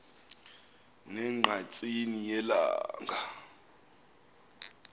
ne ngqatsini yelanga